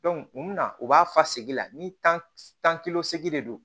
mun na u b'a fa segi la ni tan de do